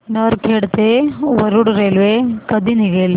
नरखेड ते वरुड रेल्वे कधी निघेल